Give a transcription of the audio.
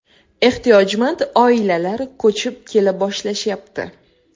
Ehtiyojmand oilalar ko‘chib kela boshlashyapti.